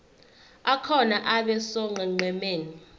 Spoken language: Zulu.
akhona abe sonqenqemeni